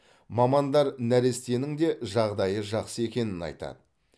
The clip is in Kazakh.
мамандар нәрестенің де жағдайы жақсы екенін айтады